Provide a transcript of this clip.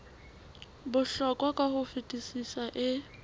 bohlokwa ka ho fetisisa e